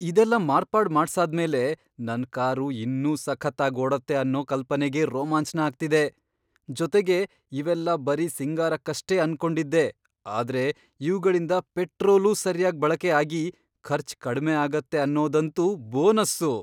ಇದೆಲ್ಲ ಮಾರ್ಪಾಡ್ ಮಾಡ್ಸಾದ್ಮೇಲೆ ನನ್ ಕಾರು ಇನ್ನೂ ಸಖತ್ತಾಗ್ ಓಡತ್ತೆ ಅನ್ನೋ ಕಲ್ಪನೆಗೇ ರೋಮಾಂಚ್ನ ಆಗ್ತಿದೆ. ಜೊತೆಗೆ, ಇವೆಲ್ಲ ಬರೀ ಸಿಂಗಾರಕ್ಕಷ್ಟೇ ಅನ್ಕೊಂಡಿದ್ದೆ ಆದ್ರೆ ಇವ್ಗಳಿಂದ ಪೆಟ್ರೋಲೂ ಸರ್ಯಾಗ್ ಬಳಕೆ ಆಗಿ ಖರ್ಚ್ ಕಡ್ಮೆ ಆಗತ್ತೆ ಅನ್ನೋದಂತೂ ಬೋನಸ್ಸು!